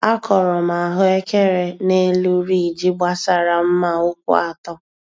Akọrọ m ahụekere nelu riiji gbasara mma ụkwụ atọ